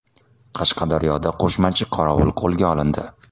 Qashqadaryoda qo‘shmachi qorovul qo‘lga olindi.